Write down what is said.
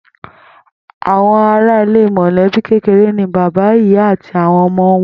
Àwo̩n aráalé mò̩lé̩bí kékeré ni bàbá, ìyá àti àwo̩n o̩mo̩ wo̩n